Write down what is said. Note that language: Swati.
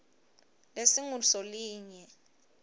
lesingusolinye